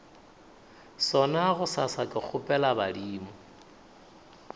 sona bosasa ke kgopela badimo